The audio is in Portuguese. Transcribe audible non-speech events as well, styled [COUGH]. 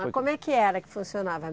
Mas como é que era que funcionava? [UNINTELLIGIBLE]